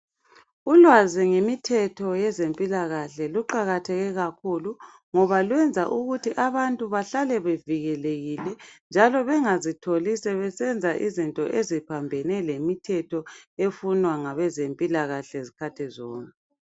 Ulwazi ngemithetho yezempilakahle luqakatheke kakhulu. Ngoba lwenza ukuthi abantu bahlale bevikelekile njalo bengazitholi sebenza izinto eziphambene lemithetho efunwa ngabezempilakahle izikhathi zonke.